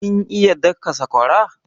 Kin iya daka sakwara?